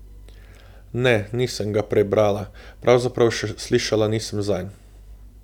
Ne, nisem ga prej brala, pravzaprav še slišala nisem zanj.